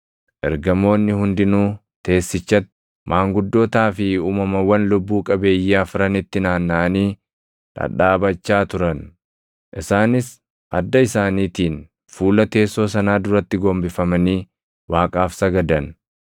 Ergamoonni hundinuu teessichatti, maanguddootaa fi uumamawwan lubbuu qabeeyyii afranitti naannaʼanii dhadhaabachaa turan. Isaanis adda isaaniitiin fuula teessoo sanaa duratti gombifamanii Waaqaaf sagadan;